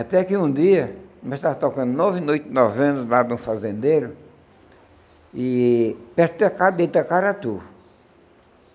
Até que um dia, nós estávamos tocando nove noites, nove anos, lá no fazendeiro, perto de Itacaratu.